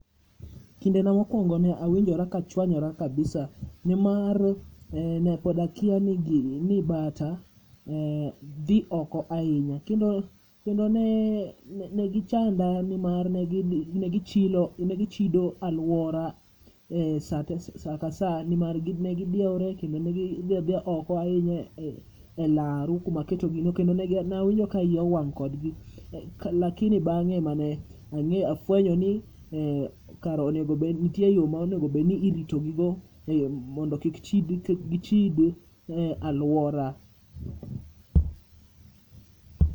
Kinde na mokoungo ne awinjo ka achwonyora kabisa, ni mar ne pod akia ni gini, ni bata dhi oko ahinya. Kendo ne gi chanda ni mar ne gi chido e aluora saa te e sa ka asa ni mar ne gi dwere kendo ne gi dhi adhiya oko ahinya e laro ku ma aketo gi no ,ne awinjo ka iya owang' kod gi lakini bang'e e ma ne ang'eyo afwenyo ni kara onego bed ni nitie yore ma onego irito gi go mondo kik gi chid e aluora.